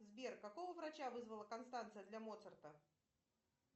сбер какого врача вызвала констанция для моцарта